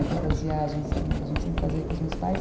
Por causa das viagens que a gente sempre fazia com os meus pais.